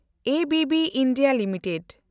ABB India limited